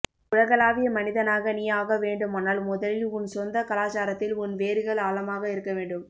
உலகளாவிய மனிதனாக நீ ஆக வேண்டுமானால் முதலில் உன் சொந்தக் கலாச்சாரத்தில் உன் வேர்கள் ஆழமாக இருக்க வேண்டும்